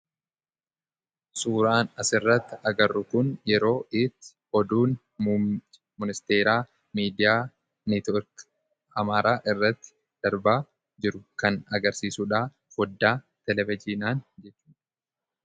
Suuraan asirratti agarru kun yeroo itti oduun ministeeraa miidiyaa neetwoorkii Amaaraa irratti darbaa jiru kan agarsiisuudha foddaa televijiinaan jechudha.